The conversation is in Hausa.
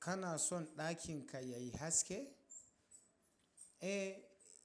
Kana son ɗakin ka yayi haske? Eh,